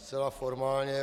Zcela formálně.